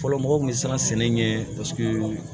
Fɔlɔ mɔgɔw kun bɛ siran sɛnɛ ɲɛ paseke